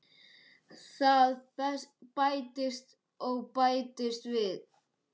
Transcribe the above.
Það bætist og bætist við.